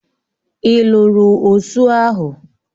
Ị lụrụ osụ ahụ?